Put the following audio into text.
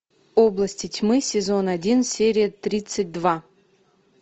области тьмы сезон один серия тридцать два